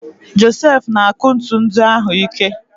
Josef na-akụ ntu ndị ahụ ike.